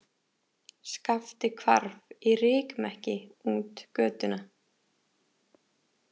Skapti hvarf í rykmekki út götuna